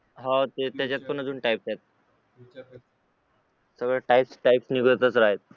हो त्याच्यात पण अजून type आहेत तर types निघतच राहतात